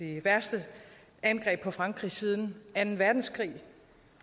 det værste angreb på frankrig siden anden verdenskrig